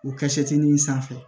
O kɛ seti min sanfɛ